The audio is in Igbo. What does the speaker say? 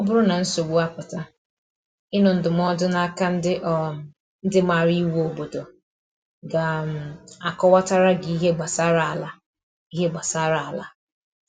Ọ bụrụ na nsogbu apụta, ịnụ ndụmọdụ na aka um ndi maara iwu n’obodo ga um akọwata ra gi ihe gbasara ala ihe gbasara ala